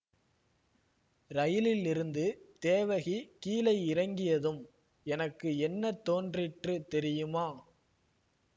ரயிலிலிருந்து தேவகி கீழே இறங்கியதும் எனக்கு என்ன தோன்றிற்று தெரியுமா